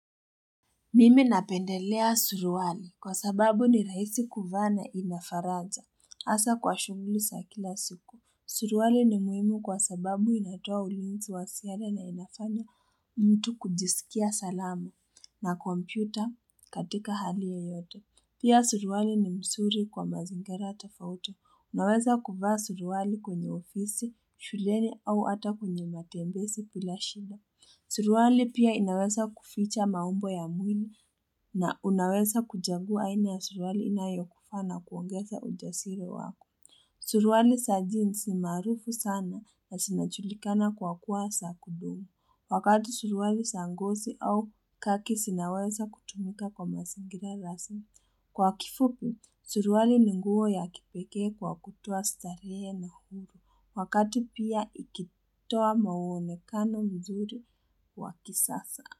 Mimi napendelea suruali kwa sababu ni rahisi kuvaa na ina faraja hasa kwa shughuli sa kila siku. Suruali ni muhimu kwa sababu inatoa ulinzi wa sere na inafanya mtu kujisikia salama na kompyuta katika hali yeyote. Pia suruali ni msuri kwa mazingera tofauti. Unaweza kuvaa suruali kwenye ofisi, shuleni au hata kwenye matembesi pila shida. Suruali pia inawesa kuficha maumbo ya mwili na unawesa kujangua aina suruhali inayokufaa na kuongeza ujasire wako. Suruali sa jeans ni maarufu sana na sinachulikana kwa kuwa sa kudumu. Wakati suruali sa ngosi au khaki sinawesa kutumika kwa masingira rasmi. Kwa kifupi, suruali ni nguo ya kipekee kwa kutoa starehe na huru. Wakati pia ikitoa mawonekano mzuri wa kisasa.